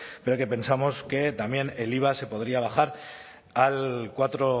pero que pensamos que también el iva se podría bajar al cuatro